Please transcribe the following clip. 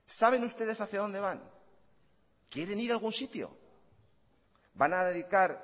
saben ustedes hacia donde van quieren ir a algún sitio van a dedicar